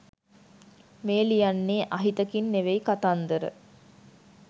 මේ ලියන්නේ අහිතකින් නෙවෙයි කතන්දර